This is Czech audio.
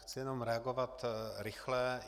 Chci jenom reagovat rychle.